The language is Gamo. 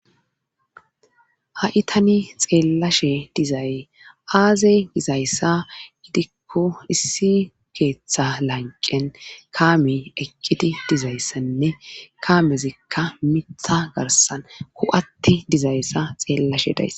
haitani xeellashe dizayy aazey dizayssa gidikko issi keeththa lanqen kaame eqqiti dizayssanne kaamezikka mitha garsan hu7atti dizayssa xeellashe dayss